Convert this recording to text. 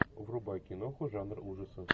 врубай киноху жанра ужасов